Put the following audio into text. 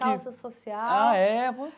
Calça social. Ah, é.